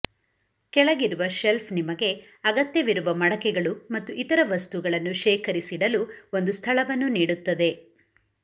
ಕೆಳಗಿರುವ ಶೆಲ್ಫ್ ನಿಮಗೆ ಅಗತ್ಯವಿರುವ ಮಡಕೆಗಳು ಮತ್ತು ಇತರ ವಸ್ತುಗಳನ್ನು ಶೇಖರಿಸಿಡಲು ಒಂದು ಸ್ಥಳವನ್ನು ನೀಡುತ್ತದೆ